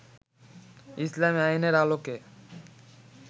ইসলামী আইনের আলোকে